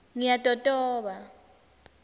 ngiyatotoba